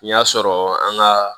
Y'a sɔrɔ an ka